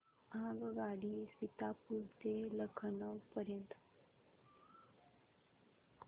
आगगाडी सीतापुर ते लखनौ पर्यंत